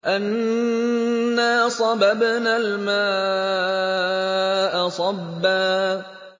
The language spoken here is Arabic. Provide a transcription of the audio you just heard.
أَنَّا صَبَبْنَا الْمَاءَ صَبًّا